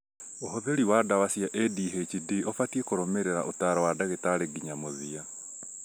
ũhũthĩri wa ndawa cia ADHD ũbatiĩ kũrũmĩrĩra ũtaaro wa ndagĩtarĩ nginya mũthia